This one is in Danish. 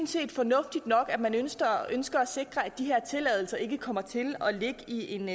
set fornuftigt nok at man ønsker at sikre at de her tilladelser ikke kommer til at ligge i en